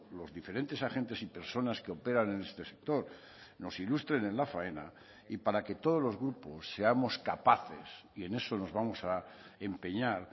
los diferentes agentes y personas que operan en este sector nos ilustren en la faena y para que todos los grupos seamos capaces y en eso nos vamos a empeñar